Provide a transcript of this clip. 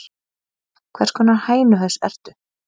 Hvers konar hænuhaus ertu?